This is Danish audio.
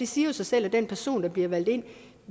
siger sig selv at den person der bliver valgt ind